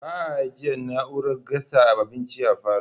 Ba'a ajjiye na'urar gasa abinci a falo